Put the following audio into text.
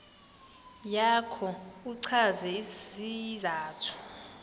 yakho uchaze isizathu